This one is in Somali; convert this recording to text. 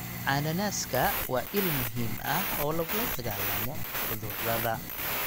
Cananaaska waa il muhiim ah oo lagula dagaallamo cudurrada.